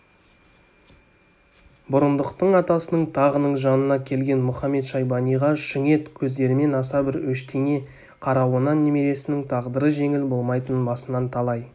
бұрындықтың атасының тағының жанына келген мұхамед-шайбаниға шүңет көздерімен аса бір өштене қарауынан немересінің тағдыры жеңіл болмайтынын басынан талай